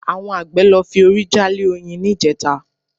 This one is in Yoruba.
Àwọn àgbẹ̀ lọ fi orí jálé oyin níjẹta